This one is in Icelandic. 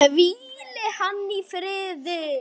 Hvíli hann í friði!